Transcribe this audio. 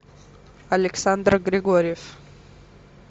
александр григорьев